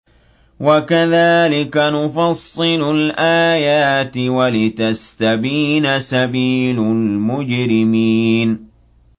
وَكَذَٰلِكَ نُفَصِّلُ الْآيَاتِ وَلِتَسْتَبِينَ سَبِيلُ الْمُجْرِمِينَ